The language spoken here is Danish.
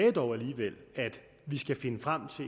gældende